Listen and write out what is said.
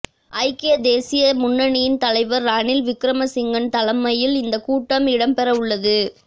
ஐக்கிய தேசிய முன்னிணியின் தலைவர் ரணில் விக்ரமசிங்கவின் தலைமையில் இந்தக் கூட்டம் இடம்பெறவுள்ளது